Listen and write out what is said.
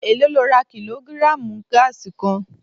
Èló lo ra kílógírààmù gáàsì kan?